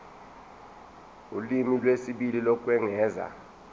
ulimi lwesibili lokwengeza